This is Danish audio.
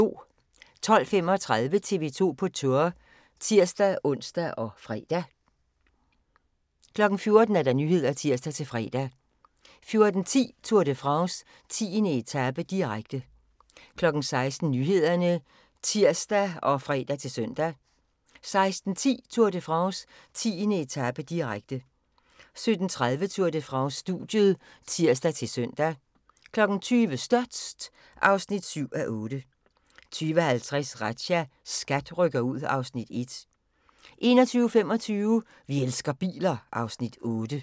12:35: TV 2 på Tour (tir-ons og fre) 13:30: Tour de France: Studiet (tir-ons og fre) 14:00: Nyhederne (tir-fre) 14:10: Tour de France: 10. etape, direkte 16:00: Nyhederne (tir og fre-søn) 16:10: Tour de France: 10. etape, direkte 17:30: Tour de France: Studiet (tir-søn) 20:00: Størst (7:8) 20:50: Razzia – SKAT rykker ud (Afs. 1) 21:25: Vi elsker biler (Afs. 8)